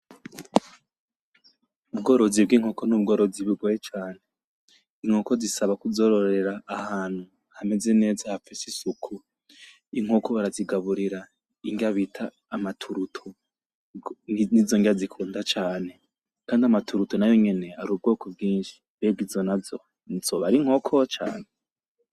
Ubworozi bw'inkoko n'ubworozi bugoye cane, inkoko zisaba kuzororera ahantu hameze neza hafise isuku, inkoko barazigaburira indya bita amaturuto , nizondya zikunda cane kandi amaturuto nayo nyene ari ubwoko bwinshi mbega izo nazo zoba ari inkoko canke?